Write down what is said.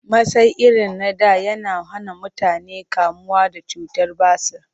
Masai irin na da yana hana mutane kamuwa da cutar basir